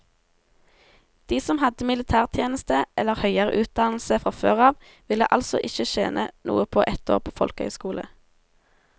De som hadde militærtjeneste eller høyere utdannelse fra før av, ville altså ikke tjene noe på ett år på folkehøyskole.